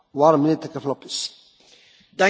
Voorzitter, commissaris, collega's.